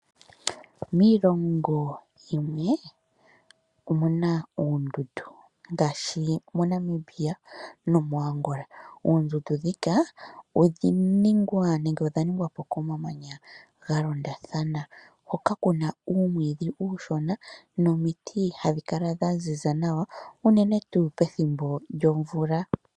Miilongo yimwe omuna oondundu, ngaashi moNamibia nomoAngola. Oondundu dhika odha ningwa po komamanya ga londathana hoka kuna uumwiidhi uushona nomiiti dha ziza nawa